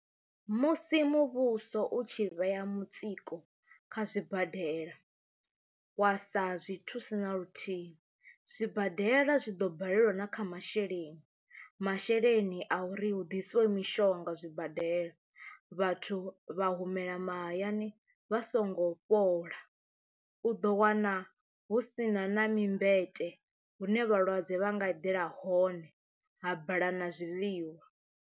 Musi muvhuso u tshi vhea mutsiko kha zwibadela wa sa zwi thusi naluthihi zwibadela zwi ḓo balelwa na kha masheleni masheleni a uri hu ḓisiwe mishonga zwibadela, vhathu vha humela mahayani vha songo fhola u do wana hu sina na mimakete hune vhalwadze vha nga eḓela hone ha bala na zwiḽiwa.